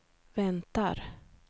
väntar